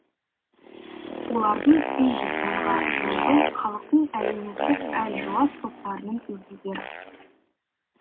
олардың үш жүз мыңға жуығы халықтың әлеуметтік әлжуаз топтарының өкілдері